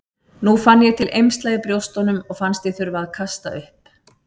Nú fann ég til eymsla í brjóstunum og fannst ég þurfa að kasta upp.